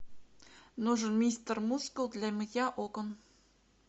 нужен мистер мускул для мытья окон